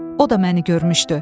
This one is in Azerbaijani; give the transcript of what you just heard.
O da məni görmüşdü.